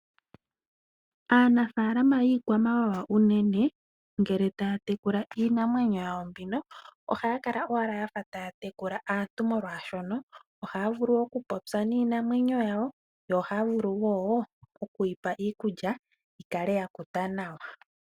Aanafalama yiikwamawawa unene ngele taya tekula iinamwenyo yawo mbino ohaya kala owala yafa taya tekula aantu omolwashono ohaya vulu okupopya niinamwenyo yawo , oyo ohaya vulu woo okwiipa iikulya yikale yakuta nawa.